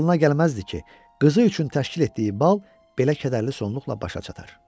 Ağlına gəlməzdi ki, qızı üçün təşkil etdiyi bal belə kədərli sonluqla başa çatar.